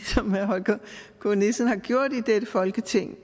som herre holger k nielsen har gjort i dette folketing